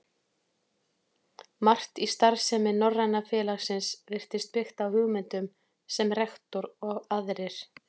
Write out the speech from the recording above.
Margt í starfsemi Norræna félagsins virtist byggt á hugmyndum, sem rektor og aðrir